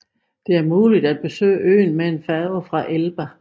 Det er muligt at besøge øen med en færge fra Elba